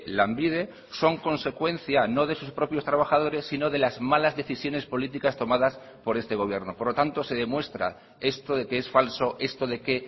lanbide son consecuencia no de sus propios trabajadores sino de las malas decisiones políticas tomadas por este gobierno por lo tanto se demuestra esto de que es falso esto de que